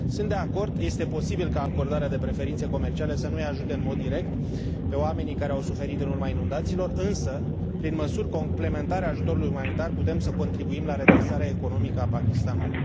Sunt de acord, este posibil ca acordarea de preferințe comerciale să nu i ajute în mod direct pe oamenii care au suferit în urma inundațiilor, însă, prin măsuri complementare ajutorului umanitar, putem să contribuim la redresarea economică a Pakistanului.